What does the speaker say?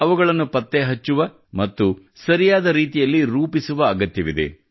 ಅವುಗಳನ್ನು ಪತ್ತೆ ಹಚ್ಚುವ ಮತ್ತು ಸರಿಯಾದ ರೀತಿಯಲ್ಲಿ ರೂಪಿಸುವ ಅಗತ್ಯವಿದೆ